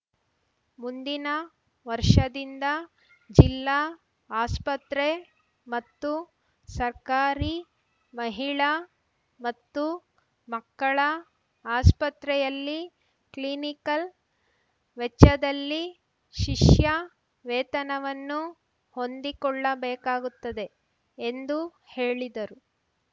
ಮುಂದಿನ ವರ್ಷದಿಂದ ಜಿಲ್ಲಾ ಆಸ್ಪತ್ರೆ ಮತ್ತು ಸರ್ಕಾರಿ ಮಹಿಳಾ ಮತ್ತು ಮಕ್ಕಳ ಆಸ್ಪತ್ರೆಯಲ್ಲಿ ಕ್ಲಿನಿಕಲ್‌ ವೆಚ್ಚದಲ್ಲಿ ಶಿಷ್ಯ ವೇತನವನ್ನು ಹೊಂದಿಕೊಳ್ಳಬೇಕಾಗುತ್ತದೆ ಎಂದು ಹೇಳಿದರು